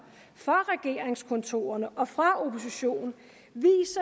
fra regeringskontorerne og fra oppositionen